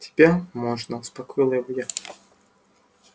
тебя можно успокоила его я